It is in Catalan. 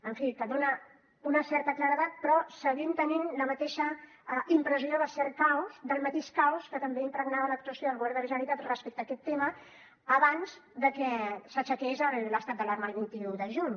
en fi que dona una certa claredat però seguim tenint la mateixa impressió de cert caos del mateix caos que també impregnava l’actuació del govern de la generalitat respecte a aquest tema abans de que s’aixequés l’estat d’alarma el vint un de juny